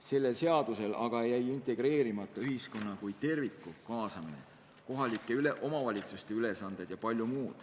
Selles seaduses aga jäi paika panemata ühiskonna kui terviku kaasamine, näiteks kohalike omavalitsuste ülesanded jpm.